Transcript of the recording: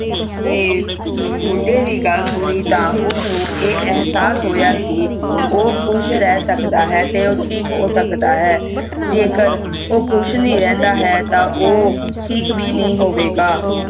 ਮੁੰਡਾ ਦੀ ਗੱਲ ਸੁੰਨੀ ਦੇਹ ਉਸ ਨੂੰ ਆ